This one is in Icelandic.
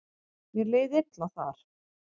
Mér leið illa þar.